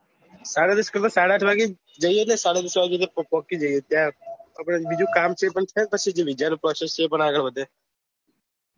તારા risk પેર સાડા આઠ વાગે જઈ એ સાડા દસ વાગે ત્યાં પોહચી જઈએ ત્યાં આપડે બીજું કામ છે એ થાય આગળ વધે